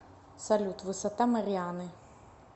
салют высота марианы